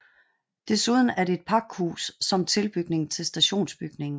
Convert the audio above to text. Desuden er det et pakhus som tilbygning til stationsbygningen